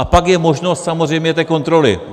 A pak je možnost samozřejmě té kontroly.